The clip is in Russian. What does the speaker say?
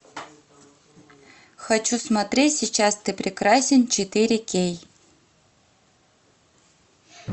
хочу смотреть сейчас ты прекрасен четыре кей